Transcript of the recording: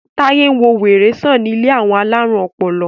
Taye nwọ wèrè sàn ní ilé àwọn alarun ọpọlọ.